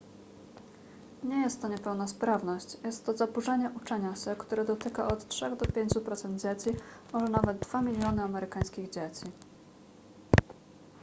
nie jest to niepełnosprawność jest to zaburzenie uczenia się które dotyka od 3 do 5 procent dzieci może nawet 2 miliony amerykańskich dzieci